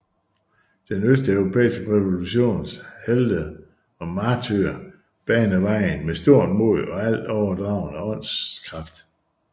Den østeuropæiske revolutions helte og martyrer baner vejen med stort mod og alt overragende åndskraft